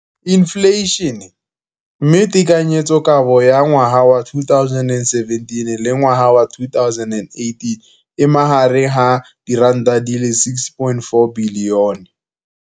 Infleišene, mme tekanyetsokabo ya 2017, 18, e magareng ga R6.4 bilione.